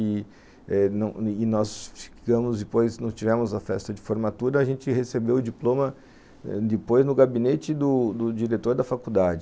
E eh nós ficamos depois, não tivemos a festa de formatura, a gente recebeu o diploma depois no gabinete do diretor da faculdade.